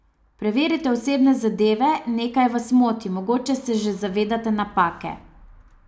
Preverite osebne zadeve, nekaj vas moti, mogoče se že zavedate napake.